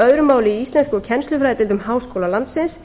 öðru máli í íslensku og kennslufræðideildum háskóla landsins